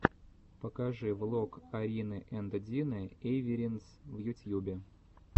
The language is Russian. покажи влог арины энд дины эйвиринс в ютьюбе